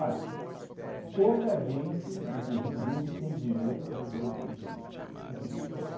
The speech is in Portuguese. pouca gente, inclusive gente que tem dinheiro, viveu o que ele viveu. Uhum.